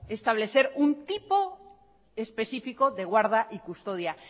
establecer un tipo específico de guarda y custodia